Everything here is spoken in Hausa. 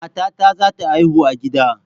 Matata zata haihu a gida